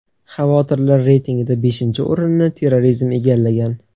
Xavotirlar reytingida beshinchi o‘rinni terrorizm egallagan.